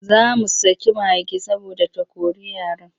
Za mu saki mage saboda ta kori yaran.